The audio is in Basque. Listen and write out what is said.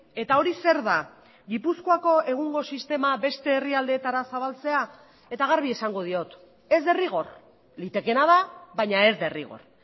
eta hori zer da gipuzkoako egungo sistema beste herrialdeetara zabaltzea eta garbi esango diot ez derrigor litekeena da baina ez derrigor